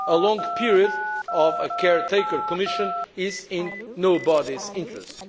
A long period with a caretaker Commission is in nobody's interest.